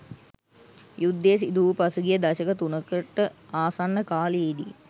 යුද්ධය සිදුවූ පසුගිය දශක තුනකට ආසන්න කාලයේදී